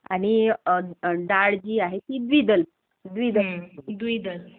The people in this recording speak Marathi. आणि डाळ जी आहे ती द्विदल. द्विदल. द्विदल